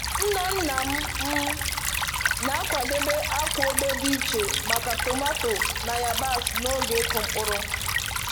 Nna nna m m na-akwadebe akwa obe dị iche maka tomato na yabasị n’oge ịkụ mkpụrụ